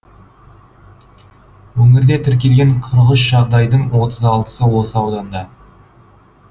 өңірде тіркелген қырық үш жағдайдың отыз алтысы осы ауданда